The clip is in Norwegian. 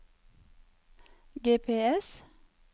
GPS